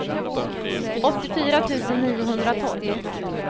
åttiofyra tusen niohundratolv